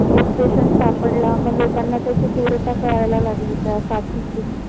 एक patient सापडला. मग लोकांना त्याची तीव्रता कळायला लागली. त्या साथीची